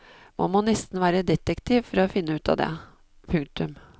Man må nesten være detektiv for å finne ut av det. punktum